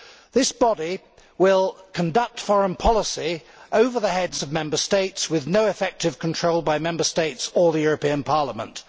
This body will conduct foreign policy over the heads of Member States with no effective control by Member States or the European Parliament.